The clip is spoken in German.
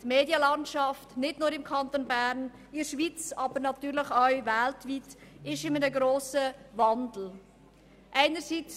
Die Medienlandschaft, nicht nur im Kanton Bern, sondern in der Schweiz und natürlich auch weltweit, ist einem grossen Wandel unterworfen.